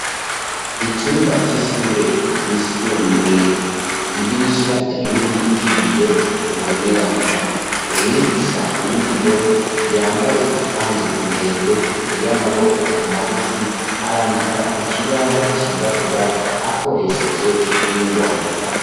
icumba c'ishure ryisumbuye idirisha rinini ry'ibiyo bibonerana umwigisha w'umugore yambaye ikanzu ndende y'amaboko magufi arandika ku kibaho cirabura akoresheje ingwa